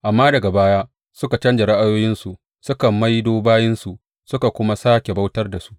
Amma daga baya suka canja ra’ayoyinsu suka maido bayinsu suka kuma sāke bautar da su.